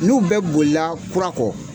N'u bɛ bolila kurakɔ.